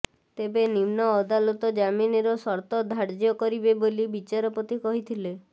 ତେବେ ନିମ୍ନ ଅଦାଲତ ଜାମିନର ସର୍ତ୍ତ ଧାର୍ଯ୍ୟ କରିବେ ବୋଲି ବିଚାରପତି କହିଥିଲେ